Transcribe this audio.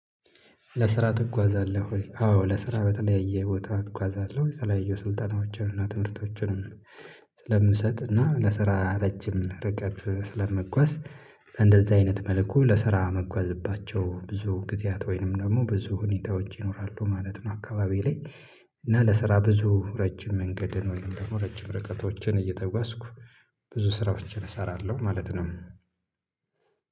ለስራ ትጓዛለህ ወይ አዎ ለስራ በተለያየ ቦታ እጓዛለሁ የተለያዩ ስልጠናዎችን እና ትምህርቶችንም ስለምንሰጥና ለስራ ረጅም ርቀት ስለምጓዝ እንደዛ አይነት መልኩ ለስራ መጓዝባቸው ብዙ ጊዜያት ወይንም ደግሞ ብዙ ሁኔታ ውጪ ይኖራሉ ማለት ነው አካባቢ ላይ እና ለስራ ብዙ ረጅም መንገድን ወይም ደግሞ ረጅም ርቀቶችን እየተጓዝኩ ብዙ ስራዎችን እሰራለሁ ማለት ነው።